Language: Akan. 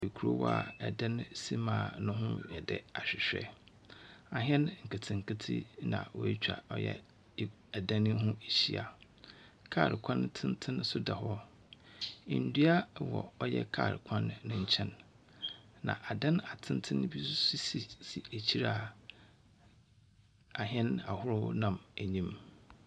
Ekurow a ɛdan si mu a no ho yɛ dɛ ahwehwɛ. Ahɛn nketse nketse na wetwa ɔyɛ edan yi ho Ehyia. Kaar kwan tsentsen so da hɔ. Ndua wɔ ɔyɛ kaar kwan ne nkyɛn. Na adan atsentsen bi sisi ekyir a ahɛn ahorow nam enyim.